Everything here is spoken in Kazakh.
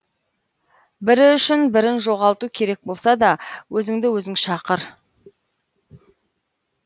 бірі үшін бірін жоғалту керек болса да өзіңді өзің шақыр